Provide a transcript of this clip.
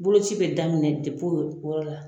Bolo bi daminɛ o yɔrɔ la